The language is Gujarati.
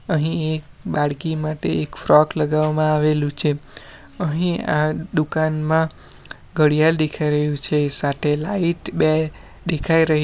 અહીં એક બાળકી માટે એક ફ્રોક લગાવવામાં આવેલું છે અહીં આ દુકાનમાં ઘડિયાલ દેખાઈ રહ્યું છે સાથે લાઈટ બે દેખાય રહી --